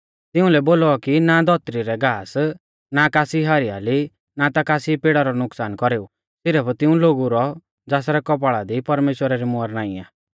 तिउंलै बोलौ कि ना धौतरी रै घास ना कासी हरियाली ना ता कासी पेड़ा रौ नुकसान कौरेऊ सिरफ तिऊं लोगु रौ ज़ासरै कौपाल़ा दी परमेश्‍वरा री मुहर नाईं आ